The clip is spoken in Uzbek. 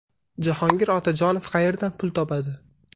Jahongir Otajonov qayerdan pul topadi?